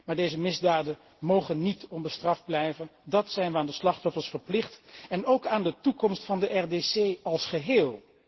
Maar deze misdaden mogen niet onbestraft blijven, dat zijn wij aan de slachtoffers verplicht en ook aan de toekomst van de RDC als geheel.